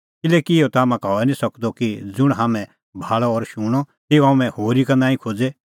किल्हैकि इहअ ता हाम्हां का हई निं सकदअ कि ज़ुंण हाम्हैं भाल़अ और शूणअ तेऊ हाम्हैं होरी का नांईं खोज़े